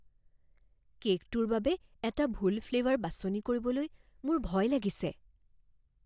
কে'কটোৰ বাবে এটা ভুল ফ্লেভাৰ বাছনি কৰিবলৈ মোৰ ভয় লাগিছে।